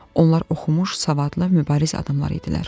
Onlar oxumuş, savadlı, mübariz adamlar idilər.